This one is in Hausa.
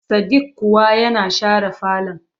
Sadik kuwa yana share falon.